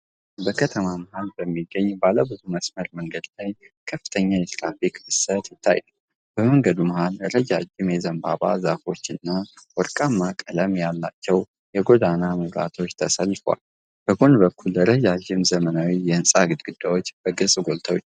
በከተማ መሀል በሚገኝ ባለብዙ መስመር መንገድ ላይ ከፍተኛ የትራፊክ ፍሰት ይታያል። በመንገዱ መሃል ረጃጅም የዘንባባ ዛፎችና ወርቃማ ቀለም ያላቸው የጎዳና መብራቶች ተሰልፈዋል። በጎን በኩል ረዣዥም ዘመናዊ የሕንፃ ግድግዳዎች በግልጽ ጎልተው ይታያሉ።